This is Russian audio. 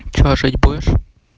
что жить будешь